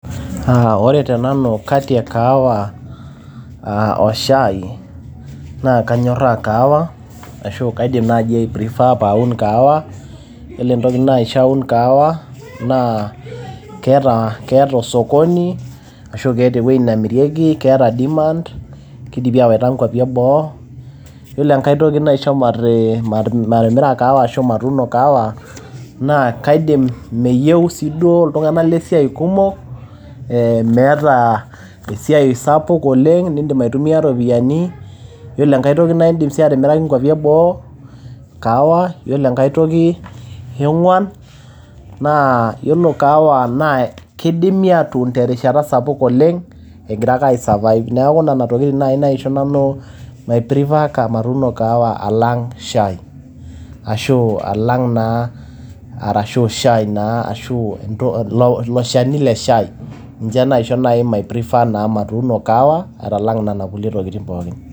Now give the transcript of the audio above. Ore te nanu kati e kahawa o shai naa kanyorra kahawa ashu aa kaidim naaji ai prefer pee awun kahawa. Yiolo entoki naisho aun kahawa naa keeta, keeta osokoni ashu keeta ewueji namirieki, keeta demand keidimi aawaita nkuapi e boo. Yiolo enkae toki naishi mati matimira kahawa ashu matuuno kahawa naa kaidim, meyieu sii duo iltung`anak le siai kumok. Meeta esiai sapuk oleng nidim aitumia irropiyiani, ore enkae toki naa idim ninye atimiraki nkuapi e boo kahawa, ore enkae toki e ong`uan naa yiolo kahawa naa kidimi aatun terishata sapuk oleng egira ake ai survive. Niaku nena tokitin naaji naisho nanu mai prefer matuno kahawa alang shai. Ashu alang naa arashu shai naa asu ent ilo shani le shai. Niaku ninche naa naisho mai prefer matuuno kahawa alang nena tokitin pookin.